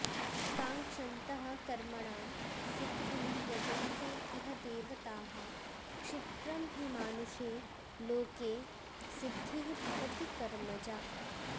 काङ्क्षन्तः कर्मणां सिद्धिं यजन्ते इह देवताः क्षिप्रं हि मानुषे लोके सिद्धिः भवति कर्मजा